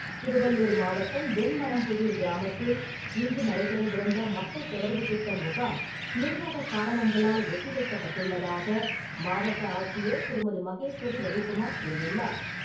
திருவள்ளூர் மாவட்டம் வெண்மனம்புதுார் கிராமத்தில் இன்று நடைபெறவிருந்த மக்கள் தொடர்பு திட்டம் முகாம் நிர்வாகக் காரணங்களால் ஒத்தி வைக்கப்பட்டுள்ளதாக மாவட்ட ஆட்சியர் திருமதி. மகேஸ்வரி ரவிகுமார் கூறியுள்ளார்.